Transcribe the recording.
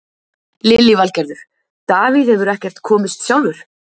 Lillý Valgerður: Davíð hefur ekkert komist sjálfur?